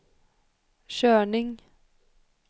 körning